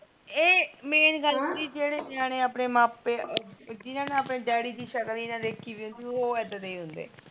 ਇਹ main ਗੱਲ ਹੁੰਦੀ ਜਿਨ ਨੇ ਆਪਣੇ ਮਾਪੇ ਆਪਣੇ ਡੈਡੀ ਦੀ ਸ਼ਕਲ ਨੀ ਦੇਖਿ ਵੀ ਹੁੰਦੀ ਓਹ ਇਦਾਂ ਦੇ ਹੀ ਹੁੰਦੇ